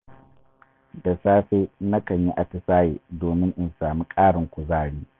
Da safe, nakan yi atisaye domin in sami ƙarin kuzari.